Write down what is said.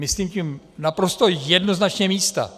Myslím tím naprosto jednoznačně místa.